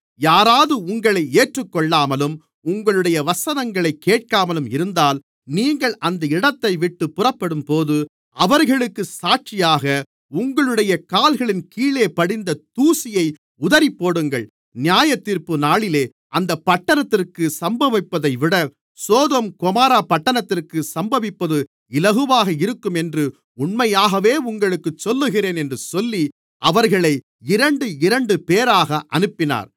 யாராவது உங்களை ஏற்றுக்கொள்ளாமலும் உங்களுடைய வசனங்களைக் கேட்காமலும் இருந்தால் நீங்கள் அந்த இடத்தைவிட்டுப் புறப்படும்போது அவர்களுக்கு சாட்சியாக உங்களுடைய கால்களின் கீழே படிந்த தூசியை உதறிப்போடுங்கள் நியாயத்தீர்ப்புநாளிலே அந்தப் பட்டணத்திற்கு சம்பவிப்பதைவிட சோதோம் கொமோரா பட்டணத்திற்கு சம்பவிப்பது இலகுவாக இருக்கும் என்று உண்மையாகவே உங்களுக்குச் சொல்லுகிறேன் என்று சொல்லி அவர்களை இரண்டு இரண்டுபேராக அனுப்பினார்